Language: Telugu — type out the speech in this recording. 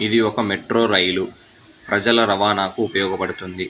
ఇది ఒక ఒక మెట్రో రైలు ప్రజల రవాణాకు ఉపయోగపడుతుంది.